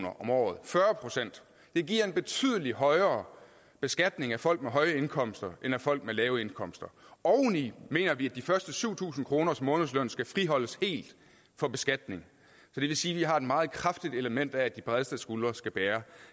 om året fyrre procent det giver en betydelig højere beskatning af folk med høje indkomster end af folk med lave indkomster oveni mener vi at de første syv tusind kroners månedsløn skal friholdes helt for beskatning det vil sige at vi har et meget kraftigt element af at de bredeste skuldre skal bære